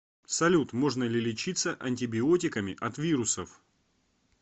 салют можно ли лечиться антибиотиками от вирусов